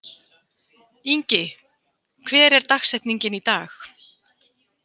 Ingi, hver er dagsetningin í dag?